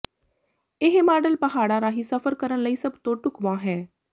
ਇਹ ਮਾਡਲ ਪਹਾੜਾਂ ਰਾਹੀਂ ਸਫ਼ਰ ਕਰਨ ਲਈ ਸਭ ਤੋਂ ਢੁਕਵਾਂ ਹੈ